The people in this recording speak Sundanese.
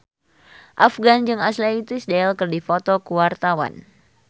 Afgan jeung Ashley Tisdale keur dipoto ku wartawan